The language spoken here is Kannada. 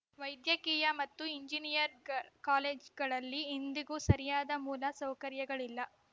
ವೈದ್ಯಕೀಯ ಮತ್ತು ಇಂಜಿನಿಯರ್ ಗ ಕಾಲೇಜುಗಳಲ್ಲಿ ಇಂದಿಗೂ ಸರಿಯಾದ ಮೂಲ ಸೌಕರ್ಯಗಳಿಲ್ಲ